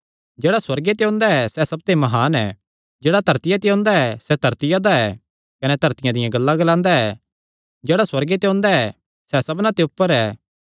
जेह्ड़ा सुअर्गे ते ओंदा ऐ सैह़ सबते म्हान ऐ जेह्ड़ा धरतिया ते ओंदा ऐ सैह़ धरतिया दा ऐ कने धरतिया दियां गल्लां ग्लांदा ऐ जेह्ड़ा सुअर्गे ते ओंदा ऐ सैह़ सबना ते ऊपर ऐ